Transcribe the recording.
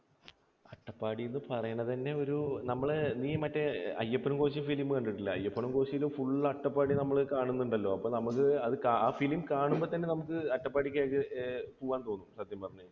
അട്ടപ്പാടി എന്ന് പറയുന്നത് തന്നെ ഒരു നമ്മൾ, നീ മറ്റേ അയ്യപ്പനും കോശിയും film കണ്ടിട്ടില്ലേ? അയ്യപ്പനും കോശിയിലും full അട്ടപ്പാടി നമ്മൾ കാണുന്നുണ്ടല്ലോ. അപ്പോൾ നമുക്ക് ആ film കാണുമ്പോൾ തന്നെ അട്ടപ്പാടിക്ക് നമുക്ക് ഏർ പോകാൻ തോന്നും സത്യം പറഞ്ഞാൽ